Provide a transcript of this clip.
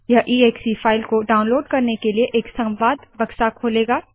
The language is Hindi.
यह एक्से फाइल को डाउनलोड करने के लिए एक संवाद बक्सा खोलेगा